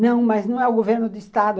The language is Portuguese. Não, mas não é o governo do estado.